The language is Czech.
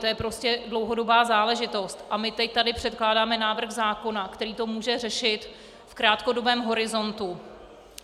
To je prostě dlouhodobá záležitost a my teď tady předkládáme návrh zákona, který to může řešit v krátkodobém horizontu.